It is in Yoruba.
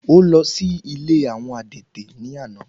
Ó lọ sí ilé àwọn adẹ́tẹ̀ ní àná.